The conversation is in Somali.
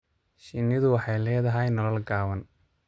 Shinnidu waxay leedahay nolol gaaban.